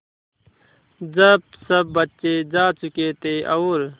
जब सब बच्चे जा चुके थे और